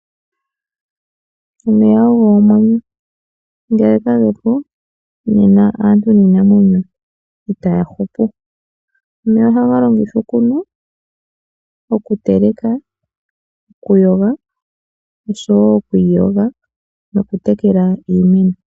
Omeya ogo omwenyo. Ngele kagepo, nena aantu niinamwenyo itaya hupu. Omeya ohaga longithwa okunwa, okuteleka, okuyoga, oshowo okwiiyoga nokutekela iimeno.